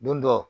Don dɔ